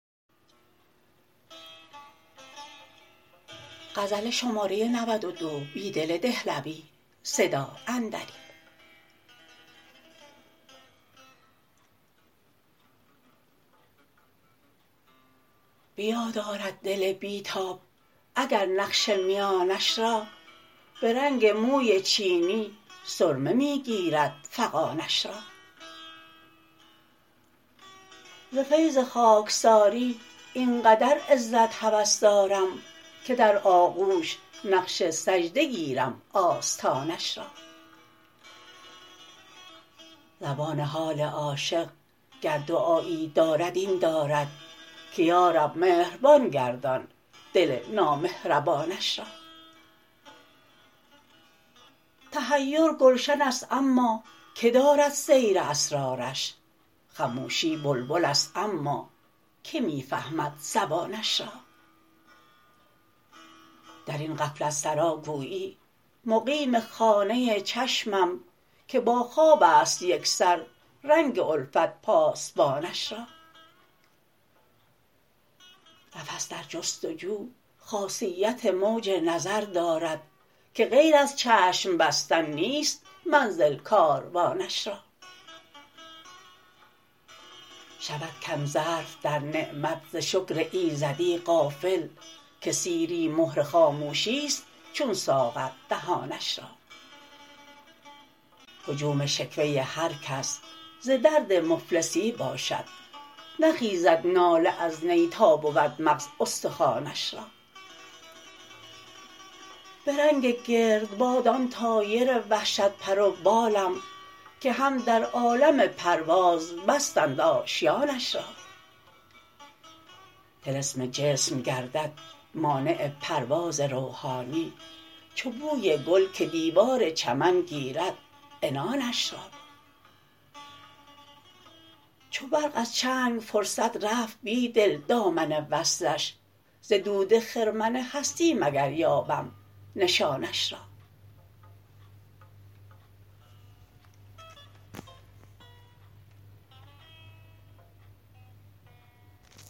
به یاد آرد دل بیتاب اگر نقش میانش را به رنگ موی چینی سرمه می گیرد فغانش را ز فیض خاکساری آنقدر عزت هوس دارم که در آغوش نقش سجده گیرم آستانش را زبان حال عاشق گر دعایی دارد این دارد که یارب مهربان گردان دل نامهربانش را تحیر گلشن است اما که دارد سیر اسرارش خموشی بلبل است اما که می فهمد زبانش را در این غفلت سرا گویی مقیم خانه چشمم که با خواب است یکسر رنگ الفت پاسبانش را نفس در جستجو خاصیت موج نظر دارد که غیر از چشم بستن نیست منزل کاروانش را شود کم ظرف در نعمت ز شکر ایزدی غافل که سیری مهر خاموشیست چون ساغر دهانش را هجوم شکوه هرکس ز درد مفلسی باشد نخیزد ناله از نی تا بود مغز استخوانش را به رنگ گردباد آن طایر وحشت پر و بالم که هم در عالم پرواز بستند آشیانش را طلسم جسم گردد مانع پرواز روحانی چو بوی گل که دیوار چمن گیرد عنانش را چو برق از چنگ فرصت رفت بیدل دامن وصلش ز دود خرمن هستی مگر یابم نشانش را